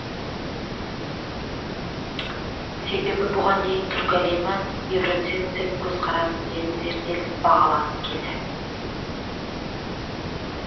себебі бұған дейін түркі әлемі евроцентристік көзқараспен зерттеліп бағаланып келді